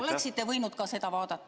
Oleksite võinud seda vaadata.